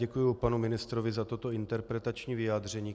Děkuji, panu ministrovi za toto interpretační vyjádření.